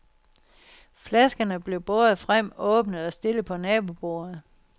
Flaskerne blev båret frem, åbnet og stillet på nabobordet.